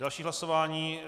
Další hlasování.